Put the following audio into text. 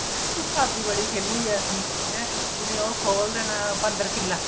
ਭਾਭੀ ਬੜੀ ਖੇਲੀ ਹੈ ਅਸੀਂ ਜਿਵੇਂ ਉਹ ਖੋਲ ਦੇਣਾ ਬੰਦਰ ਕਿੱਲਾ